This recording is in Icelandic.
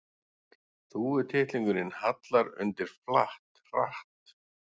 Þúfutittlingurinn hallar undir flatt, hratt.